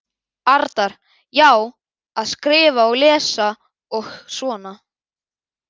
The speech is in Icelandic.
Arnar: Já, að skrifa og lesa og svona.